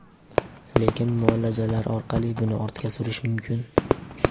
Lekin muolajalar orqali buni ortga surish mumkin.